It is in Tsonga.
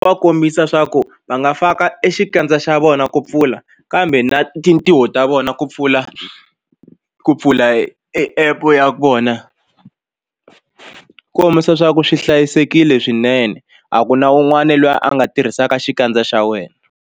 Va kombisa swa ku va nga faka e xikandza xa vona ku pfula kambe na tintiho ta vona ku pfula ku pfula app ya vona kombisa swa ku swi hlayisekile swinene a ku na un'wana loyi a nga tirhisaka xikandza xa wena.